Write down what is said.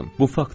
Bu faktır.